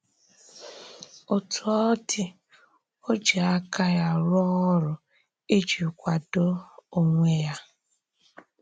Otú ọ dị, ò jì àká ya rụ̀ọ́ ọ̀rụ́ iji kwàdò onwe ya.